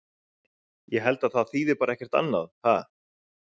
Ég held að það bara þýði ekkert annað, ha?